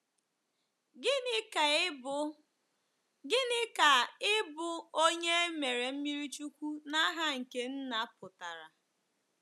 Gịnị ka ịbụ Gịnị ka ịbụ onye e mere mmiri chukwu “n’aha nke Nna” pụtara?